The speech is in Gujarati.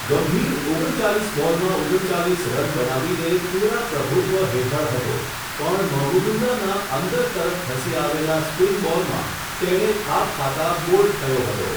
ગંભીર ઓગણ ચાલીસ બોલમાં ઓગણ ચાલીસ રન બનાવીને, પુરા પ્રભુત્વ હેઠળ હતો પણ મહમુદુલ્લાહના અંદર તરફ ધસી આવેલા સ્પિન બોલમાં, તેણે થાપ ખાતા બોલ્ડ થયો હતો.